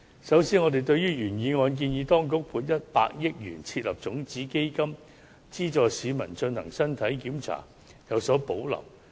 首先，對於原議案建議當局"撥款100億元設立種子基金，以資助市民進行身體檢查"，我們有所保留。